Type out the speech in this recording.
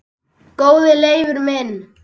Góði Leifur minn